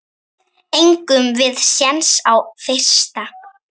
Eigum við séns á fyrsta?